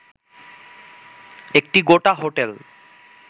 একটি গোটা হোটেল